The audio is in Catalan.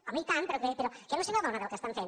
home i tant però que no se n’adona del que estan fent